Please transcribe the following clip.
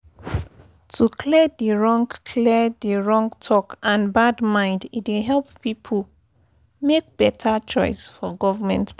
to clear di wrong clear di wrong talk and bad mind e dey help people make better choice for government plan